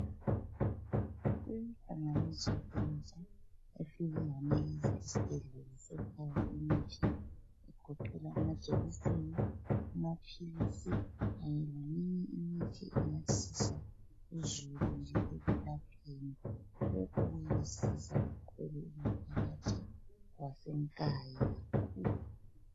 Inhlanganiso entsha efike yanikeza isibhedlela sekhaya imithi egoqela amajekiseni, amaphilisi kanye leminye imithi engasiza uzulu nje ekwelapheni. Lokhu kuyomsiza kakhulu umphakathi waseNkayi kakhulu